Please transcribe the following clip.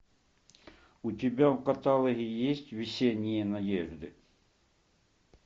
у тебя в каталоге есть весенние надежды